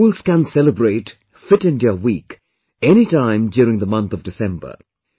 Schools can celebrate 'Fit India week' anytime during the month of December